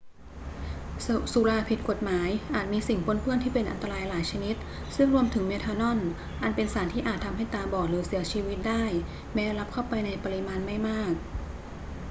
สุราผิดกฎหมายอาจมีสิ่งปนเปื้อนที่เป็นอันตรายหลายชนิด ซึ่งรวมถึงเมทานอล อันเป็นสารที่อาจทำให้ตาบอดหรือเสียชีวิตได้แม้รับเข้าไปในปริมาณไม่มาก